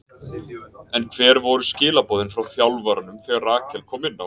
En hver voru skilaboðin frá þjálfaranum þegar Rakel kom inná?